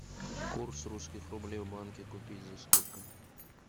курс русских рублей в банке купить за сколько